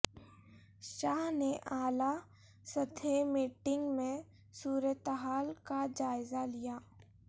شاہ نے اعلی سطحی میٹنگ میں صورتحال کا جائزہ لیا